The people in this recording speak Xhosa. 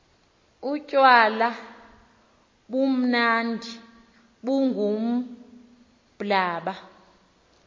utywala bumnandi bungumblaba